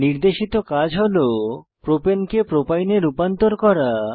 নির্দেশিত কাজ হল প্রোপেনকে প্রোপাইনে রূপান্তর করা